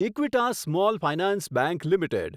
Equitas small finance bank limited